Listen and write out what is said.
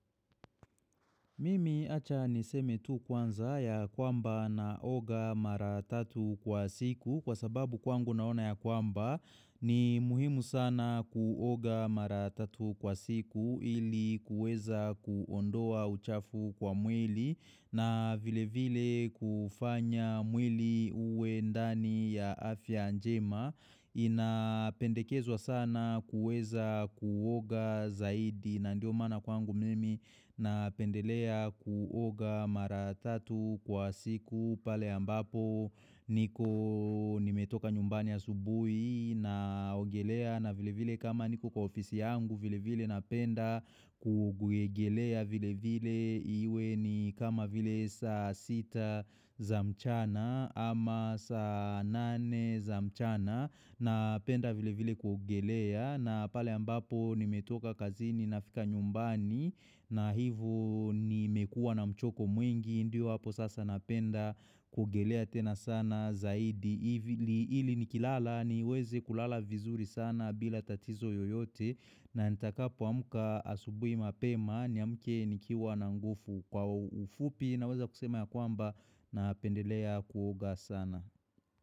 Mimi acha niseme tu kwanza yakwamba naoga mara tatu kwa siku kwa sababu kwangu naona yakwamba ni muhimu sana kuoga mara tatu kwa siku ili kuweza kuondoa uchafu kwa mwili na vile vile kufanya mwili uwe ndani ya afya njema. Ina pendekezwa sana kuweza kuoga zaidi na ndio maana kwangu mimi napendelea kuoga mara tatu kwa siku pale ambapo niko nimetoka nyumbani asubuhi naogelea na vile vile kama niko kwa ofisi yangu vile vile napenda ku kuegelea vile vile iwe ni kama vile saa sita za mchana ama saa nane za mchana, napenda vile vile kuogelea na pale ambapo nimetoka kazini nafika nyumbani, na hivo nimekuwa na mchoko mwingi ndio hapo sasa napenda kuogelea tena sana zaidi ili ili nikilala niweze kulala vizuri sana bila tatizo yoyote, na nitakapo amka asubuhi mapema, niamke nikiwa na nguvu, kwa ufupi naweza kusema yakwamba napendelea kuoga sana.